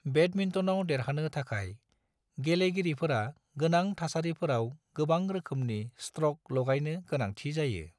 बेडमिंटनाव देरहानो थाखाय, गेलेगिरिफोरा गोनां थासारिफोराव गोबां रोखोमनि स्ट्रक लागायनो गोनांथि जायो।